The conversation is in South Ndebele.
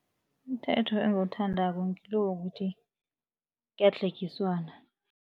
Umthetho engiwuthandako ngilo wokuthi kuyadlhegiswana.